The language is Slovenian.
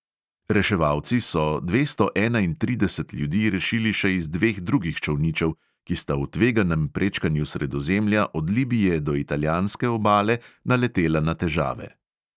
Reševalci so dvesto enaintrideset ljudi rešili še iz dveh drugih čolničev, ki sta v tveganem prečkanju sredozemlja od libije do italijanske obale naletela na težave.